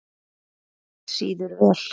Ketill sýður vel.